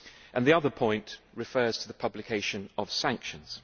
and the other point refers to the publication of sanctions.